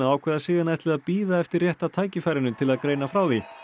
ákveða sig en ætli að bíða eftir rétta tækifærinu til að greina frá því